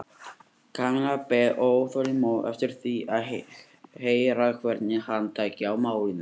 Kamilla beið óþolinmóð eftir því að heyra hvernig hann tæki á málinu.